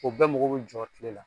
O bɛɛ mago be jɔ kiile la